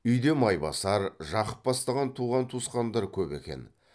үйде майбасар жақып бастаған туған туысқандар көп екен